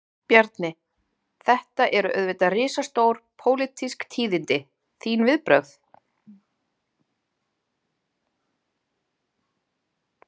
Bjarni, þetta eru auðvitað risastór, pólitísk tíðindi, þín viðbrögð?